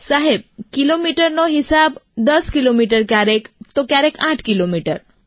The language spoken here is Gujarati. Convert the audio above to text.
સાહેબ કિલોમીટરનો હિસાબ 10 કિલોમીટર ક્યારેક 8 કિલોમીટર